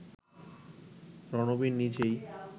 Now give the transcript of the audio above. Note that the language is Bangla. রণবীর নিজেই